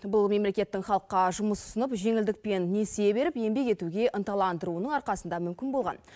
бұл мемлекеттің халыққа жұмыс ұсынып жеңілдікпен несие беріп еңбек етуге ынталандыруының арқасында мүмкін болған